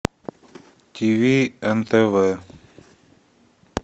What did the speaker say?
тв нтв